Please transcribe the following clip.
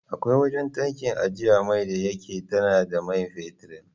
Akwai wajan tankin ajjiye mai da yake tana da man fetid